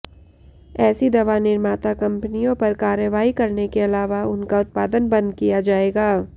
ऐसी दवा निर्माता कंपनियों पर कार्रवाई करने के अलावा उनका उत्पादन बंद किया जाएगा